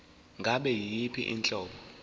ngabe yiyiphi inhlobo